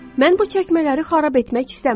Mən bu çəkmələri xarab etmək istəmirəm.